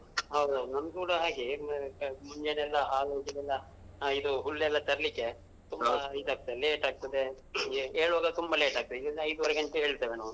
ಹೌದ್ ಹೌದ್ ನಮ್ಗ್ ಕೂಡ ಹಾಗೆ ಮುಂಜಾನೆ ಎಲ್ಲ ಹಾಲು ಇದು ಹುಲ್ಲೆಲ್ಲಾ ತರ್ಲಿಕ್ಕೆ. ಈದ್ ಆಗ್ತದೆ late ಆಗ್ತದೆ. ಏಳುವಾಗ ತುಂಬಾ late ಆಗ್ತದೆ. ಈಗ ನಾವು ಐದೂವರೆ ಗಂಟೆಗೆ ಏಳ್ತೇವೆ ನಾವು.